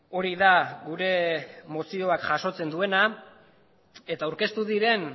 hori da gure mozioak jasotzen duena eta aurkeztu diren